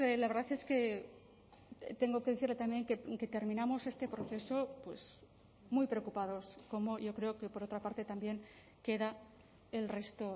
la verdad es que tengo que decirle también que terminamos este proceso pues muy preocupados como yo creo que por otra parte también queda el resto